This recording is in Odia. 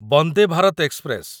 ବନ୍ଦେ ଭାରତ ଏକ୍ସପ୍ରେସ